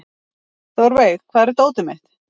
Þórveig, hvar er dótið mitt?